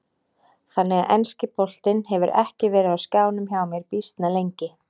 Þannig að enski boltinn hefur ekki verið á skjánum hjá mér býsna lengi.